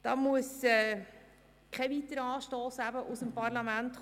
Dazu braucht es keinen weiteren Anstoss aus dem Parlament.